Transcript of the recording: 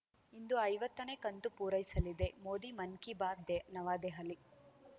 ಇಂದು ಐವತ್ತನೇ ಕಂತು ಪೂರೈಸಲಿದೆ ಮೋದಿ ಮನ್‌ ಕೀ ಬಾತ್‌ ದೆ ನವದೆಹಲಿ